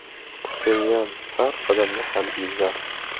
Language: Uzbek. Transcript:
Pxenyan har qadamda harbiylar.